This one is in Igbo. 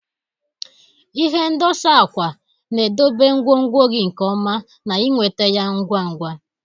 Ihe ndosa akwa na-edobe ngwongwo gị nke ọma na ịnweta ya ngwa ngwa.